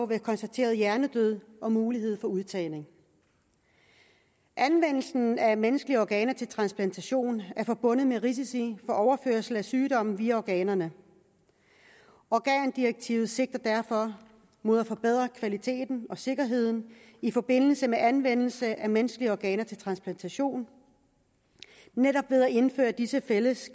ved konstateret hjernedød og mulighed for udtagning anvendelsen af menneskelige organer til transplantation er forbundet med risiko for overførsel af sygdomme via organerne organdirektivet sigter derfor mod at forbedre kvaliteten og sikkerheden i forbindelse med anvendelse af menneskelige organer til transplantation netop ved at indføre disse fælles